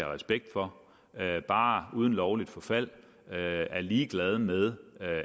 respekt for bare uden lovligt forfald er ligeglade med